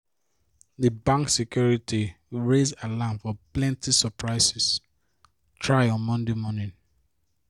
di bank security raise alarm for plenty surprisie try on monday morning